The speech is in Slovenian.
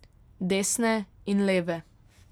Desne in leve.